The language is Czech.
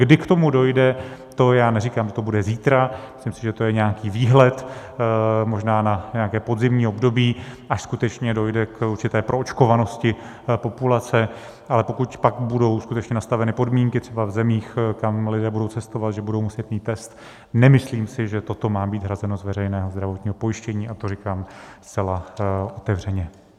Kdy k tomu dojde, to já neříkám, že to bude zítra, myslím, že to je nějaký výhled, možná na nějaké podzimní období, až skutečně dojde k určité proočkovanosti populace, ale pokud pak budou skutečně nastaveny podmínky třeba v zemích, kam lidé budou cestovat, že budou muset mít test, nemyslím si, že toto má být hrazeno z veřejného zdravotního pojištění, a to říkám zcela otevřeně.